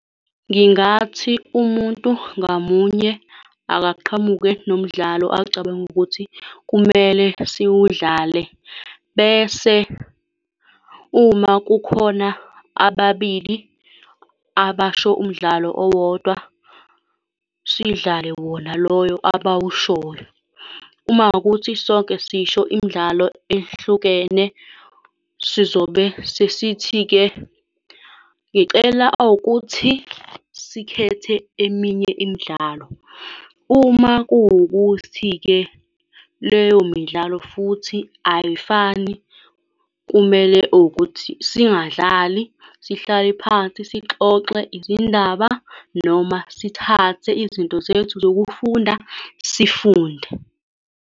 Ngingathi umuntu ngamunye akaqhamuke nomdlalo acabanga ukuthi kumele siwudlale, bese uma kukhona ababili abasho umdlalo owodwa, sidlale wona loyo abawushoyo. Uma kuwukuthi sonke sisho imidlalo ehlukene, sizobe sesithi-ke ngicela owukuthi sikhethe eminye imidlalo. Uma kuwukuthi-ke leyo midlalo futhi ayifani, kumele owukuthi singadlali. Sihlale phansi, sixoxe izindaba, noma sithathe izinto zethu zokufunda, sifunde.